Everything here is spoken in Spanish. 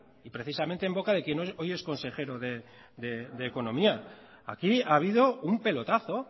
y precisamente en boca de quien hoy es consejero de economía aquí ha habido un pelotazo